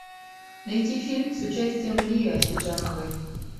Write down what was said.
найти фильм с участием лии ахеджаковой